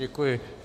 Děkuji.